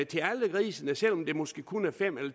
til alle grisene selv om det måske kun er fem eller